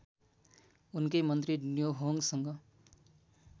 उनकै मन्त्री न्योहोङसँग